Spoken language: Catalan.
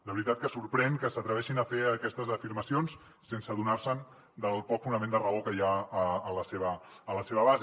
de veritat que sorprèn que s’atreveixin a fer aquestes afirmacions sense adonar se del poc fonament de raó que hi ha a la seva base